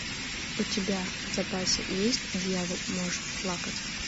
у тебя в запасе есть дьявол может плакать